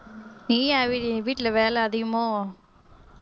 வீட்டுல வேலை அதிகமோ